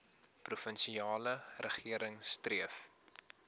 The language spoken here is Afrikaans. provinsiale regering streef